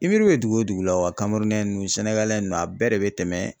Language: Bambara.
I miiri be dugu o dugu la wa nunnu nunnu a bɛɛ de be tɛmɛ